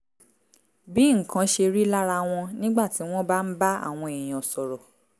bí nǹkan ṣe rí lára wọn nígbà tí wọ́n bá ń bá àwọn èèyàn sọ̀rọ̀